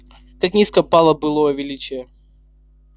как низко пало былое величие